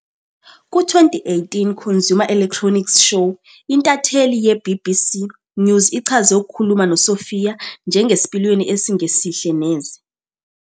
Ku-2018 Consumer Electronics Show, intatheli ye- BBC News ichaze ukukhuluma noSophia "njengesipiliyoni esingesihle neze".